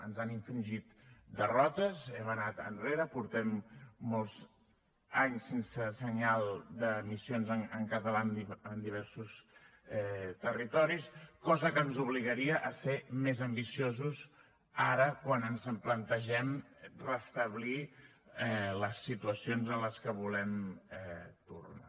ens han infringit derrotes hem anat enrere portem molts anys sense senyal d’emissions en català en diversos territoris cosa que ens obligaria a ser més ambiciosos ara quan ens plantegem restablir les situacions a les quals volem tornar